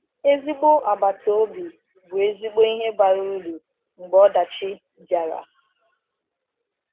Ezigbo agbata obi bụ ezigbo ihe bara uru mgbe ọdachi bịara.